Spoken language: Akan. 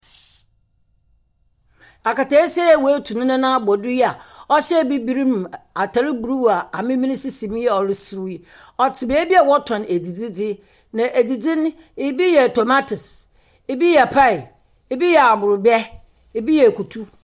Buroni barima a ɔhyɛ ataaade fitaa no gyina hɔ. Ɔbaa no a ɔhyɛ ataade tuntum no kuta abofra no ne barima no a ɔte akonnwa bibire so mfimfim. Ɔdan a ɛho akokɔsrade ne ntokua no esi wɔn akyi.